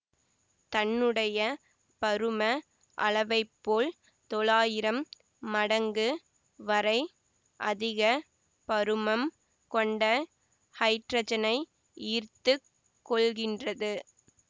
தன்னுடைய பரும அளவைப்போல் தொளாயிரம் மடங்கு வரை அதிக பருமம் கொண்ட ஹைட்ரஜனை ஈர்த்து கொள்கின்றது